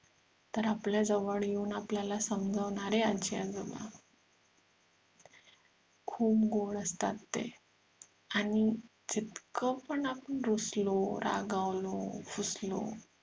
तर आपल्या जवळ येऊन आपल्याला समजावणारे आजी आजोबा खूप गोड असतात ते आणि तितकं आपण रुसलो रागावलो फुसलो